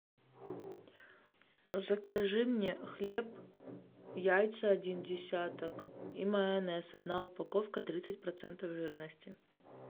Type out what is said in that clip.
закажи мне хлеб яйца один десяток и майонез одна упаковка тридцать процентов жирности